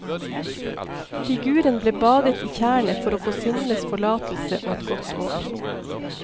Figuren ble badet i tjernet for å få syndens forlatelse og et godt år.